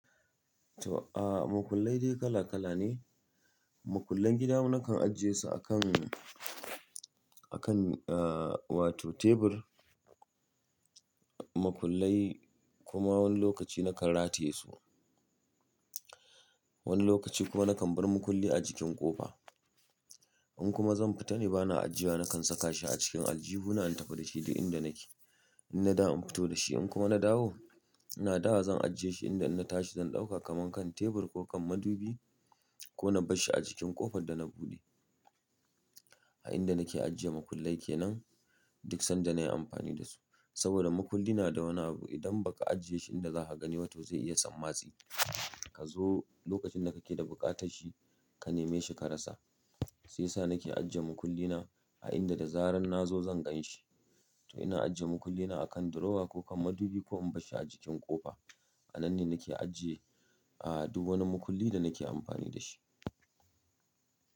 To, a makullai dai kala kala ne. Makullan gida nakan ajiye su akan, akan aa wato tebur. Makullai kuma wani lokaci nakan rataye su. Wani lokaci kuma nakan bar makulli a jikin ƙofa. In kuma zan fita ne ba na ajiyewa, nakan saka shi a cikin aljihuna in tafi da shi duk inda nake. In na dawo in fito da shi in kuma na dawo, ina dawowa zan ajiye shi inda in na tashi zan ɗauka kaman kan tebur ko kan madubi ko na barshi a jikin ƙofar da na buɗe. A inda nake ajiye makullan kenan duk sanda nayi amfani da su. Sabida makulli na da wani abu, idan baka ajiye shi inda zaka gani ba to zai iya sammatsi. Ka zo lokacin da kake da buƙatar shi, ka neme shi ka rasa. Shi yasa nake ajiye makullina a inda da zarar na zo zan gan shi. To ina ajiye makullina a kan drawer ko kan madubi ko in barshi a jikin ƙofa. A nan ne nake ajiye, aa duk wani makulli da nake amfani da shi.